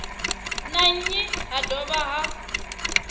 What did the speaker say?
na nnyi ha dovha ha